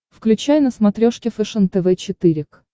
включай на смотрешке фэшен тв четыре к